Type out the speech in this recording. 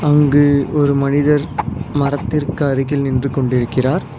அங்கு ஒரு மனிதர் மரத்திற்கு அருகில் நின்று கொண்டிருக்கிறார்.